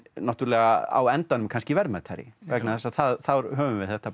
náttúrulega á endanum kannski verðmætari vegna þess að þá höfum við þetta